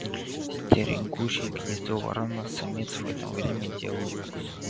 стерегущий гнездо ворона-самец в это время делал свой